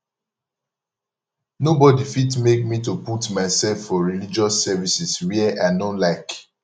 nobody fit make me to put myself for religious services where i no like